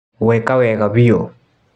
Weka wega biũ.